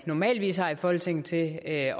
normalt har i folketinget til at